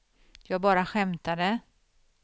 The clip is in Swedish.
jag bara skämtade